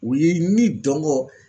U ye ni dɔngɔ